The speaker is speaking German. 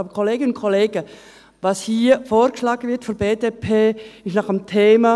Aber, Kolleginnen und Kollegen, was hier von der BDP vorgeschlagen wird, ist nach dem Thema: